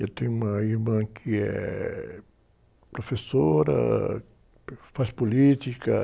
Eu tenho uma irmã que é professora, faz política.